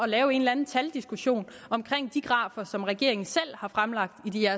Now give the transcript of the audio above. lave en eller anden taldiskussion om de grafer som regeringen har fremlagt i